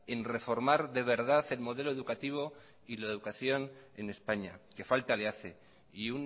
en reformar de verdad el modelo educativo y la educación en españa que falta le hace y